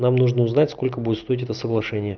нам нужно узнать сколько будет стоить это соглашения